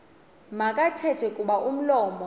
makathethe kuba umlomo